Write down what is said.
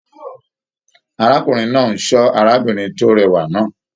Arákùnrin náà n sọ arábìnrin ti rẹwa náà.